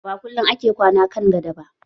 Ba kullum ake kwana kan gado ba